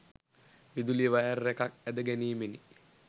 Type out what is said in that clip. විදුලි වයර් එකක් ඇද ගැනීමෙනි.